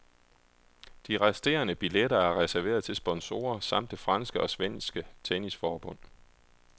De resterende billetter er reserveret til sponsorer samt det franske og svenske tennisforbund.